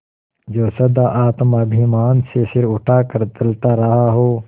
जो सदा आत्माभिमान से सिर उठा कर चलता रहा हो